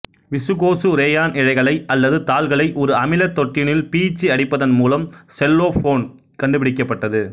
viscose rayon இழைகளை அல்லது தாள்களை ஒரு அமிலத் தொட்டியினுள் பீய்ச்சி அடிப்பதன் மூலம் செல்லோபோன் கண்டுபிடிக்கப்பட்டது